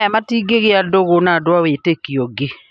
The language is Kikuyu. aya matingĩgĩa ndũgũ na andũ a wĩtĩkio ũngĩ